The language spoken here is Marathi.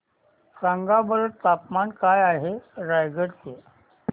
सांगा बरं तापमान काय आहे रायगडा चे